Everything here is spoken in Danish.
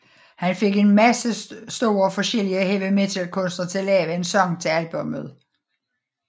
Han fik en masse store forskellige heavy metal kunstnere til at lave en sang til albummet